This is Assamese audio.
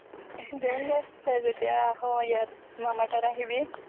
দিম দে তই যেতিয়াই আহ ইয়াত মামাৰ তাত আহিবি